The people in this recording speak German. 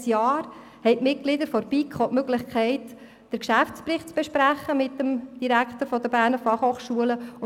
Jedes Jahr haben die Mitglieder der BiK auch die Möglichkeit, den Geschäftsbericht mit dem Direktor der BFH zu besprechen.